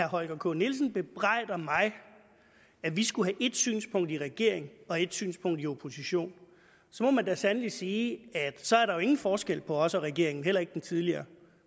holger k nielsen bebrejder mig at vi skulle have et synspunkt i regering og et synspunkt i opposition må man da sandelig sige at så er der jo ingen forskel på os og regeringen heller ikke den tidligere